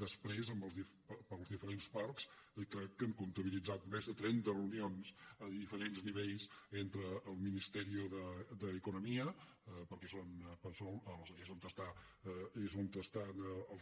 després amb els diferents parcs crec que hem comptabilitzat més de trenta reunions a diferents nivells entre el ministeri d’economia perquè és on són els